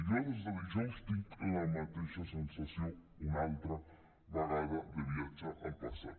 jo des de dijous tinc la mateixa sensació una altra vegada de viatge al passat